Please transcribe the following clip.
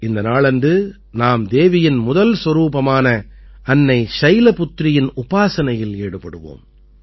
இந்த நாளன்று நாம் தேவியின் முதல் சொரூபமான அன்னை சைலபுத்ரியின் உபாசனையில் ஈடுபடுவோம்